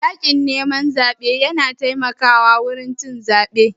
Yakin neman zaɓe na taimaka wa wurin cin zebe